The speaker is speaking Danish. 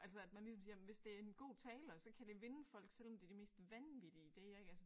Altså at man ligesom siger jamen hvis det er en god taler så kan det vinde folk selvom det de mest vanvittige ideer ik altså